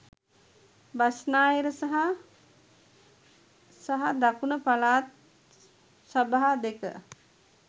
බස්නාහිර සහ සහ දකුණු පළාත් සභා දෙක